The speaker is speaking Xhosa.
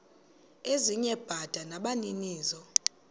ezinye bada nabaninizo